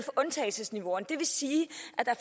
undtagelsesniveauer det vil sige